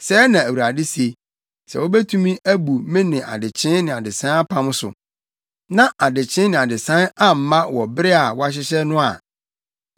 “Sɛɛ na Awurade se: ‘Sɛ wubetumi abu me ne adekyee ne adesae apam so, na adekyee ne adesae amma wɔn bere a wɔahyehyɛ no a,